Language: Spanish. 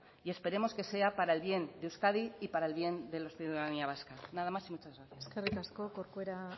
y esperemos que sea para el bien de euskadi y para el bien de la ciudadanía vasca nada más y muchas gracias eskerrik asko corcuera